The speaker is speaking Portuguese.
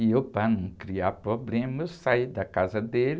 E eu, para não criar problema, eu saí da casa dele